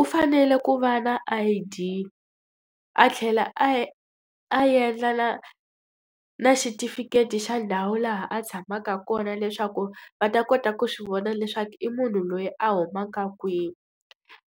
U fanele ku va na I_D, a tlhela a a endla na na xitifiketi xa ndhawu laha a tshamaka kona leswaku va ta kota ku swi vona leswaku i munhu loyi a humaka kwihi.